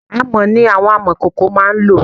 Amọ̀ ni àwọn amọ̀kòkò máá ń lò